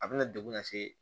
A bɛna degun lase